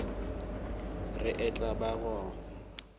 re e tla ba go